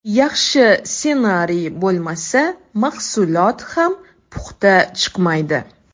Yaxshi ssenariy bo‘lmasa, mahsulot ham puxta chiqmaydi.